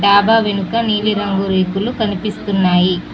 డాబా వెనక నీలిరంగు రేకులు కనిపిస్తున్నాయి.